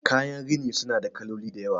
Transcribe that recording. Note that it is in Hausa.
kayan rini suna da kaloli da yawa